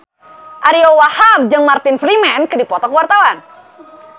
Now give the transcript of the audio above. Ariyo Wahab jeung Martin Freeman keur dipoto ku wartawan